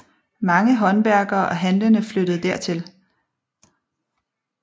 Mange håndværkere og handlende flyttede dertil